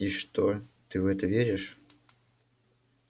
и что ты в это веришь